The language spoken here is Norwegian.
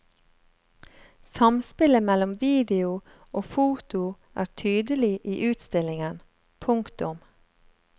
Samspillet mellom video og foto er tydelig i utstillingen. punktum